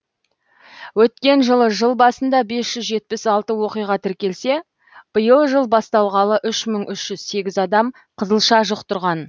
өткен жылы жыл басында бес жүз жетпіс алты оқиға тіркелсе биыл жыл басталғалы үш мың үш жүз сегіз адам қызылша жұқтырған